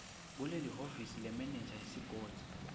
kulelihhovisi lemenenja yesigodzi